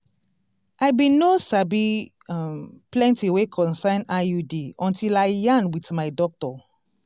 i bin no sabi um plenti wey concern iud until i yarn wit my doctor